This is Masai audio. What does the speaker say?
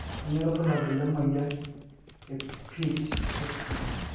kanyio irbulabul le na moyian ee pitt hopkin